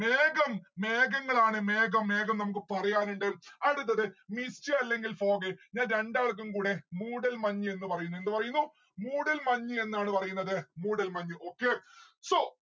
മേഘം മെഹങ്ങളാണ് മേഘം മേഘം മേഘം നമ്മുക്ക് പറയാനുണ്ട്. അടുത്തത് mist അല്ലെങ്കിൽ fog ഞാൻ രണ്ടാൾക്കും കൂടെ മൂടൽ മഞ്‍ എന്ന് പറയുന്നു എന്ത് പറയുന്നു മൂടൽ മഞ് എന്നാണ് പറയുന്നത് മൂടൽ മഞ് okay. so